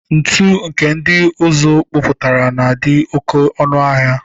Ntụ nke ndị ụzụ kpụpụtara na-adị oke ọnụ ahịa.